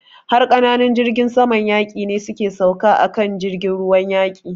Har ƙananun jirgin saman yaƙi ne su ke sauka a kan jirgin ruwan yaƙin.